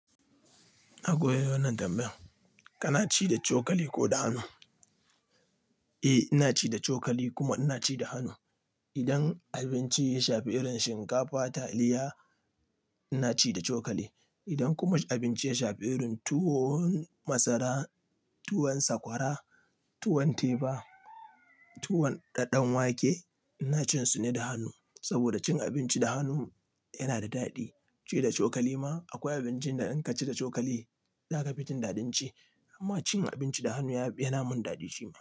Na gode da wannan tambayar. Kana ci da cokali ko da hannu? Eh, ina ci da cokali kuma ina ci da hannu. Idan abinci ya shafi irin shinkafa, taliya, ina ci da cokali. Idan kuma abinci ya shafi tuwon masara, tuwon sakwara, tuwon teba, tuwon daɗaɗɗen wake ina cin su ne da hannu. Saboda cin abinci da hannu yana da daɗi. Ci da cokali ma akwai abincin da in ka ci da cokali za ka fi jin daɗin ci. Amma cin abinci da hannu yana mun daɗi shima.